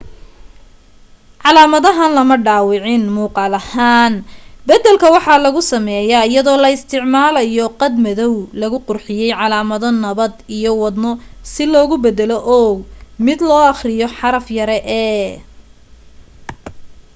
calaamadahan lama dhaawicin muuqal ahaan badalka waxaa lagu sameye ayadoo la isticmalayo qad madow lagu qurxiye calaamado nabad iyo wadno si loogu badalo o mid loo aqriyo xaraf yare e